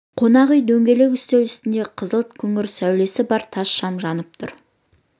қонақ үйде дөңгелек үстел үстінде қызғылт күңгірт сәулесі бар тас шам жанып тұр